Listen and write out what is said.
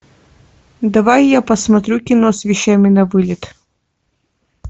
давай я посмотрю кино с вещами на вылет